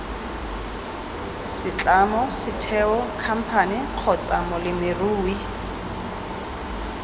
setlamo setheo khamphane kgotsa molemirui